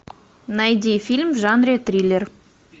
найди фильм в жанре триллер